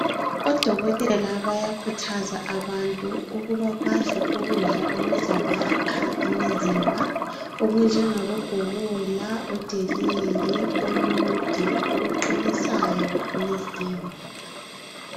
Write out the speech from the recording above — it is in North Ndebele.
Odokotela bayakhuthaza abantu ukuba badle ukudla okuzabakha imizimba okunjengabo bhobola, odelele olude okuqinisayo imizimba.